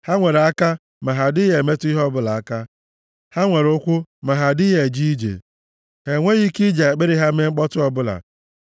ha nwere aka, ma ha adịghị emetụ ihe ọbụla aka, ha nwere ụkwụ, ma ha adịghị eje ije; ha enweghị ike iji akpịrị ha mee mkpọtụ ọbụla.